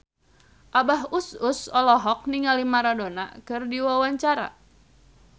Abah Us Us olohok ningali Maradona keur diwawancara